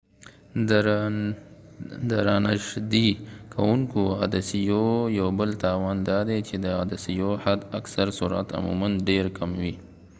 د رانژدې کوونکو عدسیو یو بل تاوان دادی چې د عدسیو حد اکثر سرعت عموما ډیر کم وي